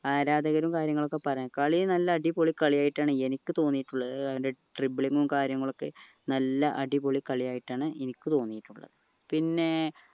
ആരാധകരും കാര്യങ്ങളൊക്കെ പറയാ കളി നല്ല അടിപൊളി കളിയായിട്ടാണ് എനിക്ക് തോന്നിയിട്ടുള്ളത് അവന്റെ dribbling ഉം കാര്യങ്ങളൊക്കെ നല്ല അടിപൊളി കളിയായിട്ടാണ് എനിക്ക് തോന്നിയിട്ടുള്ളത് പിന്നെ